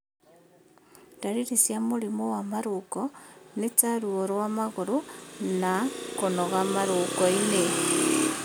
Ndariri cia mũrimũ wa marũngo nĩ ta ruo rwa magũrũ na na kũnoga marũngo-inĩ